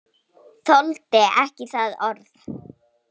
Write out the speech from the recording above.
Þoldi ekki það orð.